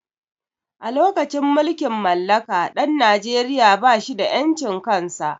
A lokacin mulkin mallaka ɗan najeria ba shi da ƴancin kan sa